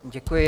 Děkuji.